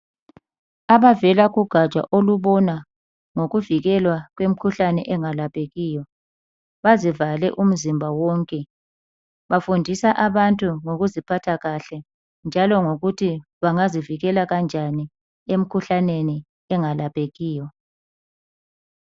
Abavela kogaja ngababona ngokwemikhuhlane engalaphekiyo bazivale umzimba wonke bafundisa abantu ngokuziphatha kahle njalo ngokuthi bangazivikela kanjani emikhuhlaneni engalaphekiyo.